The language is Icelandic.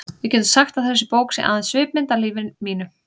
Við getum sagt að þessi bók sé aðeins svipmynd af lífi mínu.